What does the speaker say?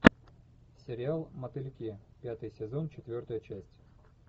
сериал мотыльки пятый сезон четвертая часть